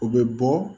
O bɛ bɔ